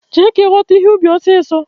Jee! ka ighota ihe ubi osiso!